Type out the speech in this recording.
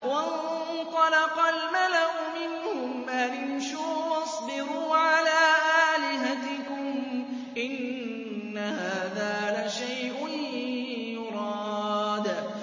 وَانطَلَقَ الْمَلَأُ مِنْهُمْ أَنِ امْشُوا وَاصْبِرُوا عَلَىٰ آلِهَتِكُمْ ۖ إِنَّ هَٰذَا لَشَيْءٌ يُرَادُ